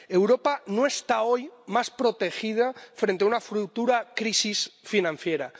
Europa no está hoy más protegida frente a una futura crisis financiera.